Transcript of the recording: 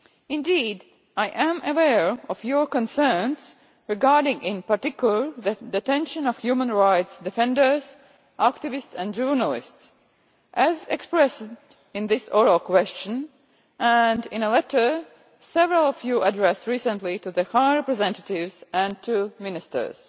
Indeed, I am aware of your concerns regarding, in particular, the detention of human rights defenders, activists and journalists, as expressed in this oral question and in a letter that several of you addressed recently to the High Representatives and to ministers.